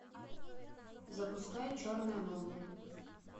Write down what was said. запускай черная молния